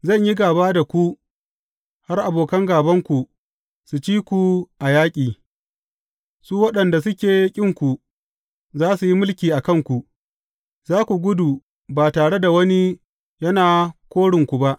Zan yi gāba da ku har abokan gābanku su ci ku a yaƙi, su waɗanda suke ƙinku za su yi mulki a kanku, za ku gudu ba tare da wani yana korinku ba.